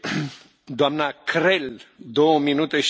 Herr Präsident, liebe Frau Kommissarin!